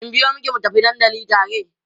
in biyo maki mu tafi dandali tare?